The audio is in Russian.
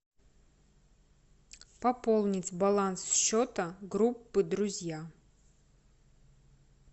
пополнить баланс счета группы друзья